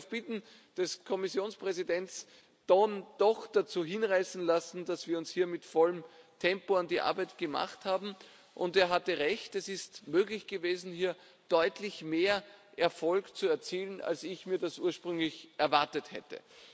Ich habe mich auf Bitten des Kommissionspräsidenten dann doch dazu hinreißen lassen, uns hier mit vollem Tempo an die Arbeit zu machen, und er hatte Recht Es ist möglich gewesen, hier deutlich mehr Erfolg zu erzielen, als ich mir das ursprünglich erwartet hätte.